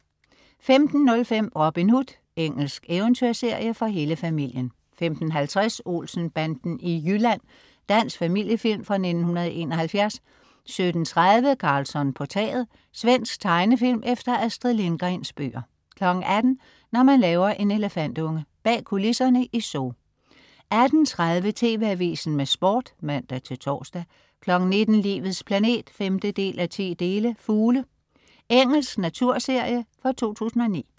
15.05 Robin Hood. Engelsk eventyrserie for hele familien 15.50 Olsen-banden i Jylland. Dansk familiefilm fra 1971 17.30 Karlsson på taget. Svensk tegnefilm efter Astrid Lindgrens bøger 18.00 Når man laver en elefantunge. Bag kulisserne i Zoo 18.30 TV Avisen med Sport (man-tors) 19.00 Livets planet 5:10. "Fugle". Engelsk naturserie fra 2009